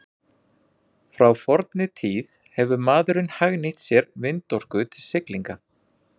Frá fornri tíð hefur maðurinn hagnýtt sér vindorku til siglinga.